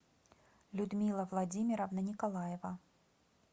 людмила владимировна николаева